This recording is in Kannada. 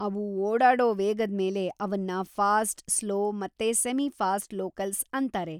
ಅವು ಓಡಾಡೋ ವೇಗದ್‌ ಮೇಲೆ ಅವನ್ನ ಫಾಸ್ಟ್‌, ಸ್ಲೋ ಮತ್ತೆ ಸೆಮಿ-ಫಾಸ್ಟ್‌ ಲೋಕಲ್ಸ್‌ ಅಂತಾರೆ.